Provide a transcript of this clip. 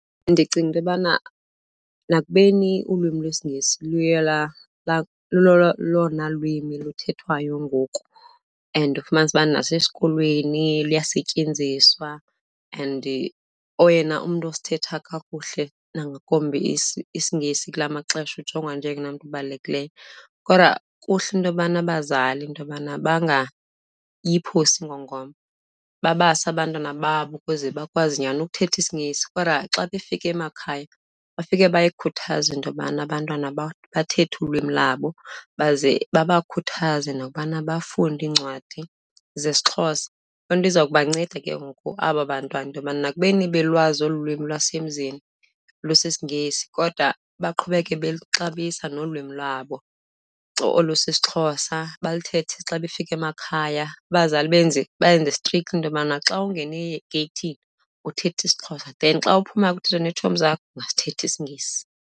Ndicinga into yobana nakubeni ulwimi lwesiNgesi luye lelona lwimi luthethwayo ngoku and ufumanise uba nasesikolweni luyasetyenziswa and oyena umntu osithetha kakuhle nangakumbi isiNgesi kula maxesha ujongwa njengoyena mntu ubalulekileyo. Kodwa kuhle into yobana abazali, into yobana bangayiphosi ingongoma, babase abantwana babo ukuze bakwazi nyhani ukuthetha isiNgesi. Kodwa xa befika emakhaya, bafike bayikhuthaze into yobana abantwana bathethe ulwimi labo baze babakhuthaze nokubana bafunde iincwadi zesiXhosa, Loo nto iza kubanceda ke ngoku aba bantwana into yokuba nakubeni belwazi olu lwimi lwasemzini lusisiNgesi kodwa baqhubeke beluxabisa nolwimi lwabo olu sisiXhosa. Balithethe xa befika emakhaya, abazali benze bayenze strict into yobana xa ungena egeyithini, uthetha isiXhosa then xa uphuma uthetha neetshomi zakho, ungasithetha isiNgesi.